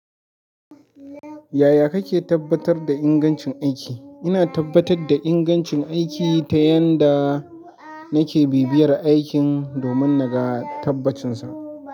Yaya kake tabbatar da ingancin aiki? Ina tabbatar da ingancin aiki ta yan da nake bibiyar aikin domin na ga tabbacinsa.